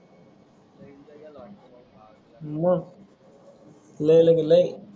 मग लय लग लय.